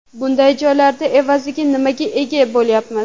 Bunday joylarda evaziga nimaga ega bo‘lyapmiz?